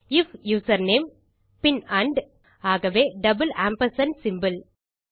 if username பின் and ஆகவே double ampersand symbol